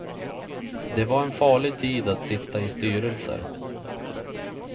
Det var en farlig tid att sitta i styrelser.